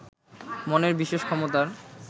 মনের বিশেষ ক্ষমতার